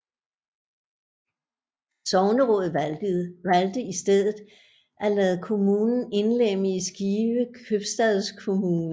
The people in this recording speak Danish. Sognerådet valgte i stedet at lade kommunen indlemme i Skive Købstadskommune